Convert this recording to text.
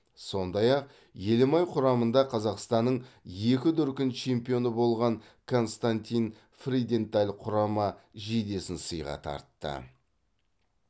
сондай ақ елімай құрамында қазақстанның екі дүркін чемпионы болған константин фриденталь құрама жейдесін сыйға тартты